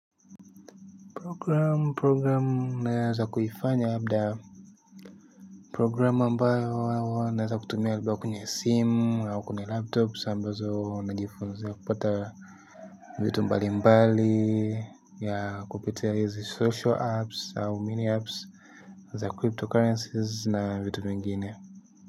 Program program na za kuifanya labda programu ambayo naweza tumia labda kwenye simu au kwenye laptops ambazo ninajifunzia kupata vitu mbalimbali kupitia hizi social apps au many apps za cryptocurrency na vitu vingine.